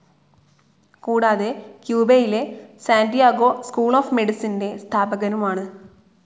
കൂടാതെ ക്യുബയിലെ Santiago school of മെഡിസിന്റെ സ്ഥാപകനുമാണ്.